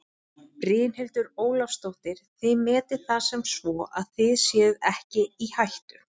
Brynhildur Ólafsdóttir: Þið metið það sem svo að þið séuð ekki í hættu?